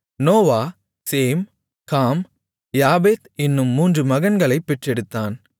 Noah Shem Ham Japheth என்னும் மூன்று மகன்களைப் பெற்றெடுத்தான்